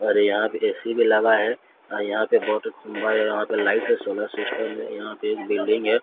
और यहां पे ए_सी भी लगा है आ यहां पे बहोत लाइट है सोलर सिस्टम है यहां पे एक बिल्डिंग है।